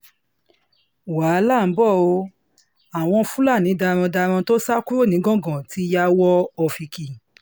wàhálà ń b o ò àwọn fúlàní darandaran tó sá kúrò nìgangan ti ya wọ ọ́fíkì